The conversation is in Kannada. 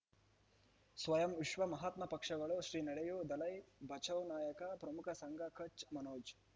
ಸ್ವಯಂ ವಿಶ್ವ ಮಹಾತ್ಮ ಪಕ್ಷಗಳು ಶ್ರೀ ನಡೆಯೂ ದಲೈ ಬಚೌ ನಾಯಕ ಪ್ರಮುಖ ಸಂಘ ಕಚ್ ಮನೋಜ್